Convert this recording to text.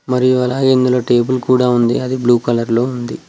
మరియు అలాగే ఇందులో టేబుల్ కూడా ఉంది అది బ్లూ కలర్ లో ఉంది.